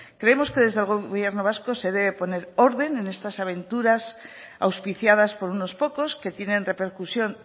creemos que desde el gobierno vasco se debe poner orden en estas aventuras auspiciadas por unos pocos que tienen repercusión